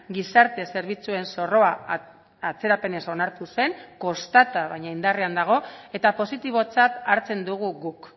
gizarte zerbitzuen zorroa atzerapenez onartu zen kostata baina indarrean dago eta positibotzat hartzen dugu guk